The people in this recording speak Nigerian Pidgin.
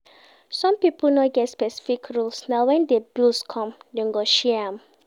Some pipo no get specific rules na when di bills come dem go share am